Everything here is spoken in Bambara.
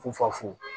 Fufafu